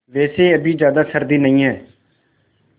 वैसे अभी ज़्यादा सर्दी नहीं है